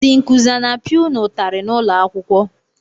Ndị nkụzi a na-apịa unu ụtarị n'ụlọakwụkwọ?